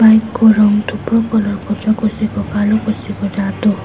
Bike को रङ थुप्रो कलर को छ कसैको कालो कसैको रातो।